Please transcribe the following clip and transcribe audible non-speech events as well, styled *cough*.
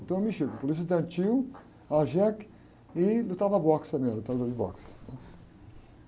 Então eu mexia com política estudantil, *unintelligible* e lutava boxe também, era lutador de boxe.